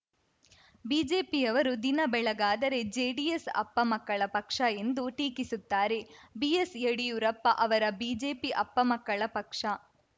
ಬಿಜೆಪಿಯವರು ದಿನ ಬೆಳಗಾದರೆ ಜೆಡಿಎಸ್‌ ಅಪ್ಪ ಮಕ್ಕಳ ಪಕ್ಷ ಎಂದು ಟೀಕಿಸುತ್ತಾರೆ ಬಿಎಸ್‌ಯಡಿಯೂರಪ್ಪ ಅವರ ಬಿಜೆಪಿ ಅಪ್ಪ ಮಕ್ಕಳ ಪಕ್ಷ